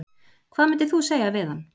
Hvað myndir þú segja við hann?